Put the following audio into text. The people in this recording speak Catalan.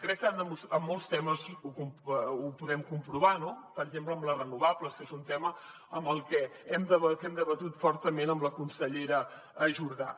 crec que en molts temes ho podem comprovar no per exemple en les renovables que és un tema que hem debatut fortament amb la consellera jordà